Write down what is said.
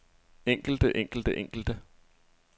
enkelte enkelte enkelte